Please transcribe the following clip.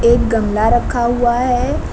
एक गमला रखा हुआ है।